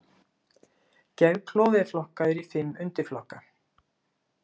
Geðklofi er flokkaður í fimm undirflokka.